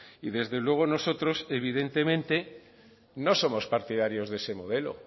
y desde luego nosotros evidentemente no somos partidarios de ese modelo